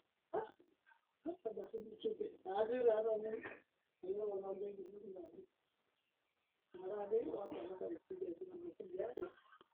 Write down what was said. etareto sii elototo o nkulie kuapi peyie eyolouni mpukunot oo ndaiki kumok